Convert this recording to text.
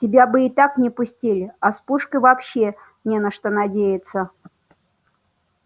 тебя бы и так не пустили а с пушкой вообще не на что надеяться